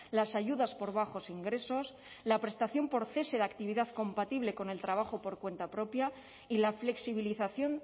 las ayudas por bajos ingresos la prestación por cese de actividad compatible con el trabajo por cuenta propia y la flexibilización